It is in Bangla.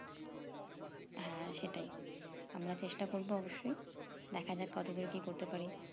হ্যাঁ সেটাই আমরা চেষ্টা করবো অবশ্যই দেখা যাক কত দূর কি করতে পারি